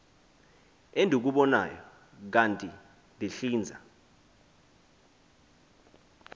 endikubonayo kanti ndihlinza